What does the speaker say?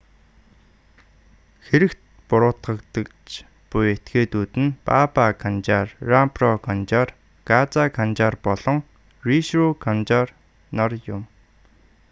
хэрэгт буруутгагдаж буй этгээдүүд нь баба канжар рампро канжар газа канжар болон вишну канжар нар юм